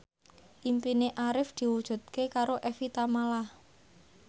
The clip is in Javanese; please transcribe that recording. impine Arif diwujudke karo Evie Tamala